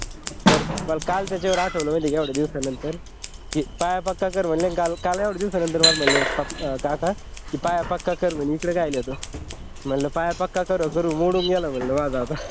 तर काल मला त्याच्यावर आठवलं माहिती आहे का एवढ्या दिवसानंतर की पाया पक्का कर म्हणले आणि काल एवढ्या दिवसानंतर मला म्हटले आहे काका पाया पक्का कर म्हणे इकडे कशाला येतो म्हटलं पाया पक्का करून करून मोडून गेला म्हटल माझा आता